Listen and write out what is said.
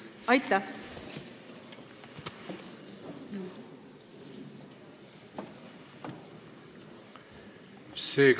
Aitäh!